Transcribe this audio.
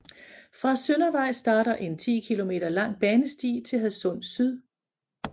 Fra Søndervej starter en 10 km lang banesti til Hadsund Syd